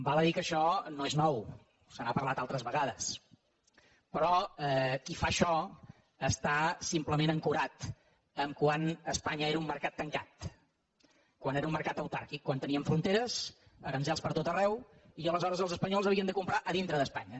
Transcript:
val a dir que això no és nou se n’ha parlat altres vegades però qui fa això està simplement ancorat al fet de quan espanya era un mercat tancat quan era un mercat autàrquic quan teníem fronteres aranzels per tot arreu i aleshores els espanyols havien de comprar a dintre d’espanya